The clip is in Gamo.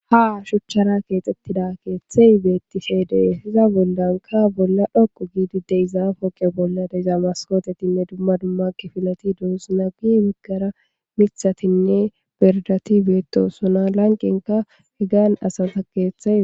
Ha shuchchara keexxettida keeththey beettifeede hiza boldanka bolla dhoqu giidi de izaafoqe bolla dezamaskotetinne dumma dummakke filati duossuna guy wiggara mithatinne berdati beetto sona lanqenka he gan asata keeththae